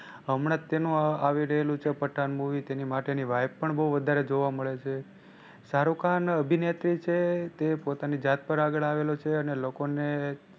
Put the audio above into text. હમણાં જ તેનું આવી રહ્યું છે પઠાણ movie તેની માટે ની vibe પણ બહુ વધારે જોવા મળે છે. શાહરુખ ખાન અભિનેતા છે તે પોતાની જાત પર આગળ આવેલો છે અને લોકો ને